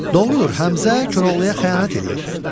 Doğrudur, Həmzə Koroğluya xəyanət eləyir.